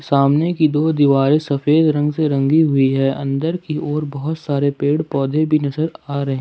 सामने की दो दीवारे सफेद रंग से रंगी हुई है अंदर की ओर बहुत सारे पेड़ पौधे भी नजर आ रहे--